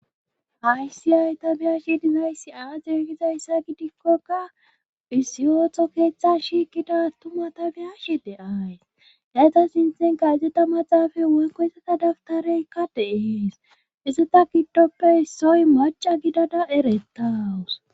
hayssi ha'i ta beyashe dizayssi aaze gizayssa gidikkoka isiyotho keeththa shiikida tuma tabiyashe de7ays dayta sintenka izeta maxaafay woykko iseta daftareykka deees izeta giddoppe issoy maca gidada eretawus